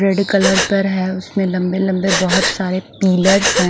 Red colour पर है उसमे लम्बे लम्बे बोहोत सारे पिल्लर्स है।